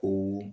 O